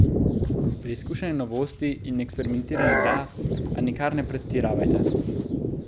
Preizkušanje novosti in eksperimentiranje da, a nikar ne pretiravajte.